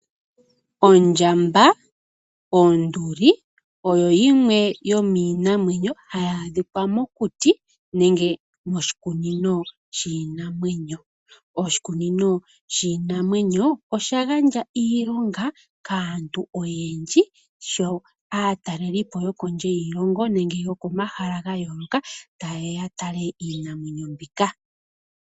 Ondjamba ,Onduli ,oyo yimwe yomiinamwenyo hayi adhikwa mokuti nenge moshikunino shiinamwenyo. Oshikunino shiinamwenyo osha gandja iilonga kaantu oyendji sho aatalelipo yo kondje yiilongo nenge yo komahala ga yooloka ta yeya ya tale iinamwenyo mbika.